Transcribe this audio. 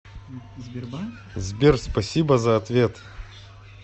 сбер спасибо за ответ